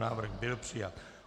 Návrh byl přijat.